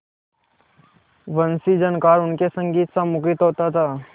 वंशीझनकार उनके संगीतसा मुखरित होता था